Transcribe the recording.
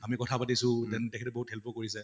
আমি কথা পাতিছো then থেখেতে বহুত help ও কৰিছে